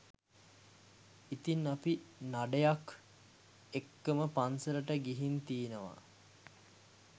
ඉතින් අපි නඩයක් එක්කම පන්සලට ගිහින් තියෙනවා